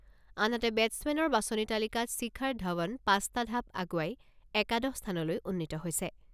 আনহাতে, বেটছমেনৰ বাছনি তালিকাত শিখৰ ধাৱন পাঁচটা ঢাপ আগুৱাই একাদশ স্থানলৈ উন্নীত হৈছে।